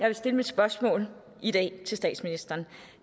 vil stille mit spørgsmål til statsministeren